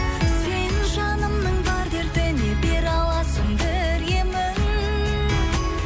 сен жанымның бар дертіне бере аласың бір емін